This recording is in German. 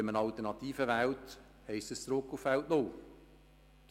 Wenn man die Alternative wählt, heisst das, dass wir zurück auf Feld null gehen.